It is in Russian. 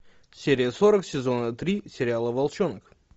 серия сорок сезона три сериала волчонок